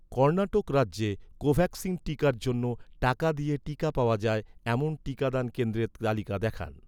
কর্ণাটক রাজ্যে কোভ্যাক্সিন টিকার জন্য, টাকা দিয়ে টিকা পাওয়া যায়, এমন টিকাদান কেন্দ্রের তালিকা দেখান